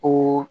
Ko